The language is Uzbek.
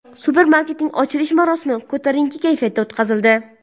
Supermarketning ochilish marosimi ko‘tarinki kayfiyatda o‘tkazildi.